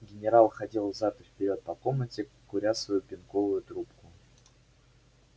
генерал ходил взад и вперёд по комнате куря свою пенковую трубку